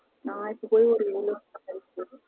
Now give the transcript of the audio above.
நா இப்போ போயி ஒரு இருபது வருஷம் கழிச்சு